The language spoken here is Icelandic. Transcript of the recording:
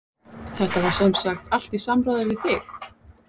Þetta var semsagt allt í samráði við þig?